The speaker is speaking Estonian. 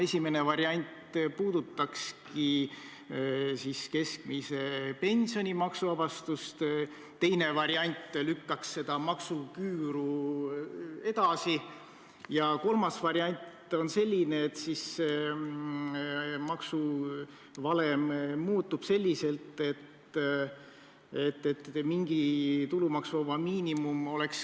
Esimene variant oleks keskmise pensioni maksuvabastus, teine variant lükkaks seda maksuküüru edasi ja kolmas variant on selline, et maksuvalem muutub niimoodi, et kõigil on mingi tulumaksuvaba miinimum.